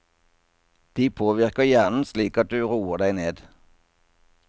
De påvirker hjernen slik at du roer deg ned.